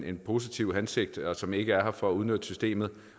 en positiv hensigt og som ikke er her for at udnytte systemet